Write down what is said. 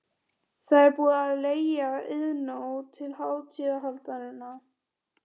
Það er búið að leigja Iðnó til hátíðahaldanna.